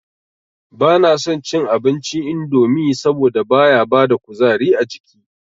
Ba na son cin abinci indomi saboda baya bada kuzari ajiki